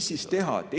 Mis siis teha?